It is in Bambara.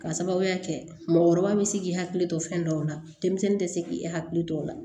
K'a sababuya kɛ mɔgɔkɔrɔba bɛ se k'i hakili to fɛn dɔw la denmisɛnnin tɛ se k'i hakili to o la